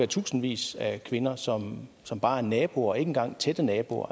tusindvis af kvinder som som bare er naboer og ikke engang tætte naboer